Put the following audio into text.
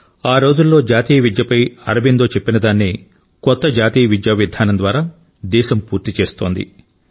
ఆ రోజుల్లో జాతీయ విద్యపై అరబిందో చెప్పినదాన్నే కొత్త జాతీయ విద్యా విధానం ద్వారా దేశం పూర్తి చేస్తోంది